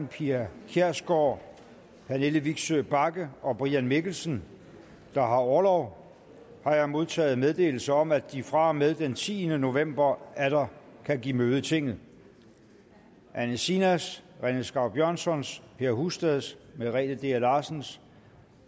pia kjærsgaard pernille vigsø bagge og brian mikkelsen der har orlov har jeg modtaget meddelelse om at de fra og med den tiende november atter kan give møde i tinget anne sinas rené skau björnssons per husteds merete dea larsens